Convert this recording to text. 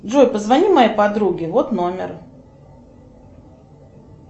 джой позвони моей подруге вот номер